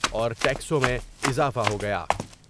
اور ٹیکسوں میں اضافہ ہو گیا ۔